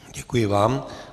Děkuji vám.